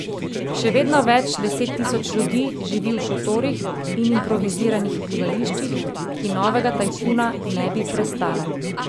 Še vedno več deset tisoč ljudi živi v šotorih in improviziranih bivališčih, ki novega tajfuna ne bi prestala.